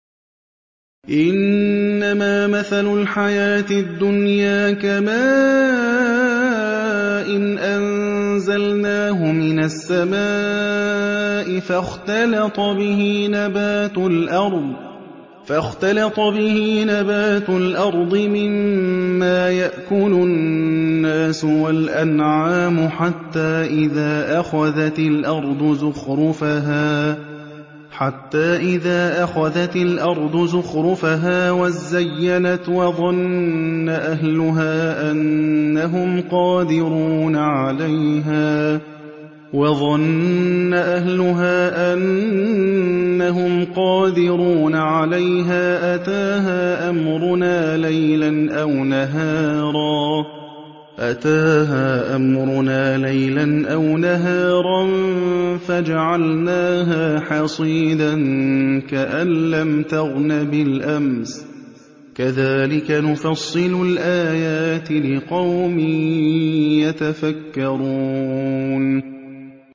إِنَّمَا مَثَلُ الْحَيَاةِ الدُّنْيَا كَمَاءٍ أَنزَلْنَاهُ مِنَ السَّمَاءِ فَاخْتَلَطَ بِهِ نَبَاتُ الْأَرْضِ مِمَّا يَأْكُلُ النَّاسُ وَالْأَنْعَامُ حَتَّىٰ إِذَا أَخَذَتِ الْأَرْضُ زُخْرُفَهَا وَازَّيَّنَتْ وَظَنَّ أَهْلُهَا أَنَّهُمْ قَادِرُونَ عَلَيْهَا أَتَاهَا أَمْرُنَا لَيْلًا أَوْ نَهَارًا فَجَعَلْنَاهَا حَصِيدًا كَأَن لَّمْ تَغْنَ بِالْأَمْسِ ۚ كَذَٰلِكَ نُفَصِّلُ الْآيَاتِ لِقَوْمٍ يَتَفَكَّرُونَ